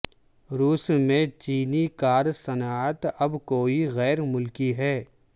روس میں چینی کار صنعت اب کوئی غیر ملکی ہے